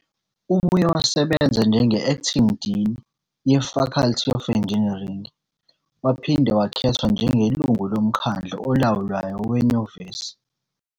Ubuye wasebenza njenge-Acting Dean ye-Faculty of Engineering waphinde wakhethwa njengelungu loMkhandlu Olawulayo Wenyuvesi.